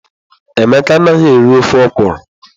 Emeka anaghị eri ofe okwụrụ.